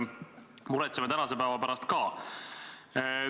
Muretseme tänase päeva pärast ka.